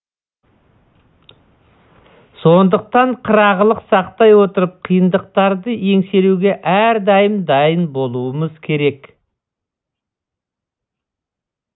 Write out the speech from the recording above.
сондықтан қырағылық сақтай отырып қиындықтарды еңсеруге әрдайым дайын болуымыз керек